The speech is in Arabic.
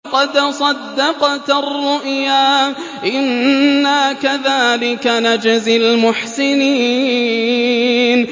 قَدْ صَدَّقْتَ الرُّؤْيَا ۚ إِنَّا كَذَٰلِكَ نَجْزِي الْمُحْسِنِينَ